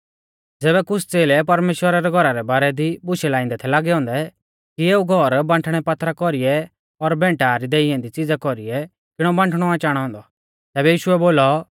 ज़ैबै कुछ़ च़ेलै परमेश्‍वरा रै घौरा रै बारै दी बुशै लाइंदै थै लागै औन्दै कि एऊ घौर बांठणै पात्थरा कौरीऐ और भैंटा री देई ऐन्दी च़िज़ा कौरीऐ किणौ बांठणौ आ चाणौ औन्दौ तैबै यीशुऐ बोलौ